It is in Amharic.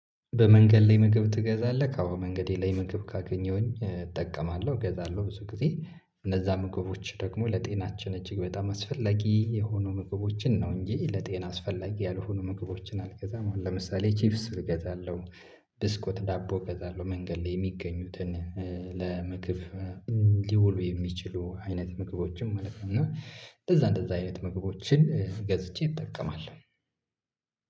በመንገድ ላይ ምግብ ትገዛለህ? አዎ መንገዴ ላይ ምግብ ካገኘሁኝ እጠቀማለሁ እገዛለሁ ብዙ ጊዜ እነዚያ ምግቦች ደግሞ ለጤናችን እጅግ በጣም አስፈለጊ የሆኑ ምግቦችን ነው እንጂ ለጤና አስፈላጊ ያልሆኑ ምግቦችን አልገዛም። አሁን ለምሳሌ ቺፕስ እገዛለሁ ብስኩት ዳቦ እገዛለሁ። መንገድ ላይ የሚገኙትን ለምግብ ሊውሉ የሚችሉ አይነት ምግቦችም ማለት ነው። እና እንደዚያ እንደዚያ አይነት ምግቦችን ገዝቼ እጠቀማለሁ።